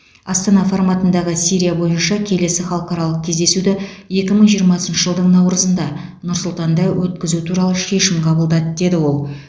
астана форматындағы сирия бойынша келесі халықаралық кездесуді екі мың жиырмасыншы жылдың наурызында нұр сұлтанда өткізу туралы шешім қабылдады деді ол